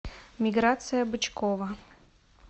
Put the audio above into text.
миграция бычкова